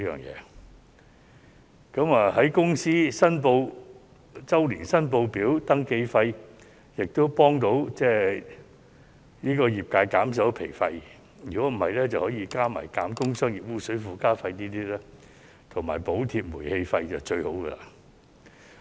有關寬免公司周年申報表登記費的措施，亦能幫助業界降低經營成本；如果能夠加上減免工商業污水附加費和補貼煤氣費，便是最好的了。